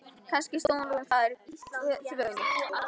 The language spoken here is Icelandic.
Kannski stóð hún þar í þvögunni.